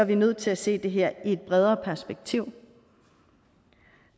vi nødt til at se det her i et bredere perspektiv